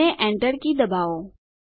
અને Enter key દબાવો